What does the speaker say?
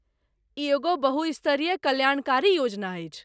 ई एगो बहुस्तरीय कल्याणकारी योजना अछि।